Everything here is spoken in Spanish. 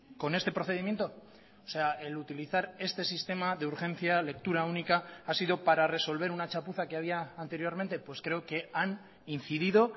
con este procedimiento o sea el utilizar este sistema de urgencia lectura única ha sido para resolver una chapuza que había anteriormente pues creo que han incidido